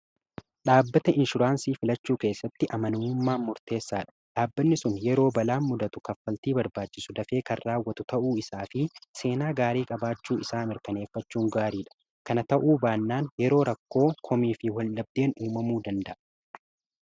dhaabbata inshuraansii filachuu keessatti amanamummaan murteessaa dha dhaabbanni sun yeroo balaan mudatu kaffaltii barbaachisu dafee kan raawwatu ta'uu isaa fi seenaa gaarii qabaachuu isaa mirkaneeffachuu gaarii dha kana ta'uu baannaan yeroo rakkoo komii fi wal dhabdeen uumamuu danda'a